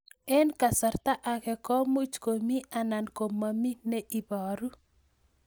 Eng' kasarta ag'e ko much ko mii anan komamii ne ibaru